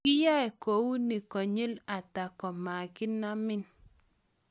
kiiyai kou nie konyil ata komakinamin?